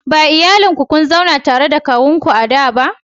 Ba iyalin ku kun zauna tare da na kawunku a da ba